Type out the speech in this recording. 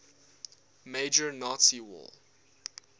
major nazi war